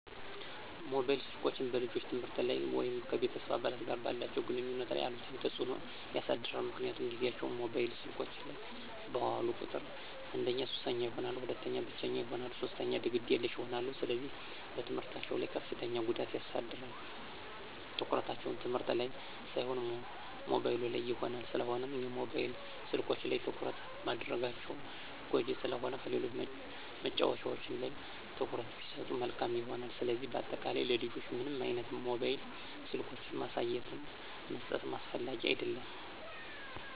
ሞባይል ስልኮች በልጆች የትምህርት ላይ ወይም ከቤተሰብ አባላት ጋር ባላቸው ግንኙነት ላይ አሉታዊ ተጽዕኖ ያሳድራል ምክንያቱም ጊዚያቸውን ሞባይል ስልኮች ላይ ባዋሉ ቁጥር አንደኛ ሱሰኛ ይሆናሉ፣ ሁለተኛ ብቸኛ ይሆናሉ፣ ሶስተኛ ግዴለሽ ይሆናሉ፣ ስለዚህ በትምህርታቸው ላይ ከፍተኛ ጉዳት ያሳድራል፣ ትኩረታቸው ትምህርት ላን ሳይሆን ሞባይሉ ላይ ይሆናል። ስለሆነም የሞባይል ስልኮች ላይ ትኩረት ማድረጋቸው ጎጅ ስለሆነ ከሌሎች መጫዎቻዎች ላይ ትኩረት ቢሰጡ መልካም ይሆናል። ስለዚህ በአጠቃላይ ለልጆች ምንም አይነት ሞባይል ስልኮችን ማሳየትም መስጠትም አስፈላጊ አደለም።